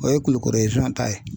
O ye kulikoro ta ye